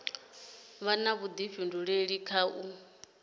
vha na vhudifhinduleli kha u